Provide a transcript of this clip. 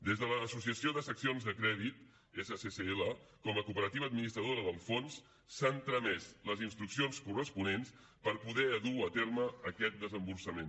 des de l’associació de seccions de crèdit sccl com a cooperativa administradora del fons s’han tramès les instruccions corresponents per poder dur a terme aquest desemborsament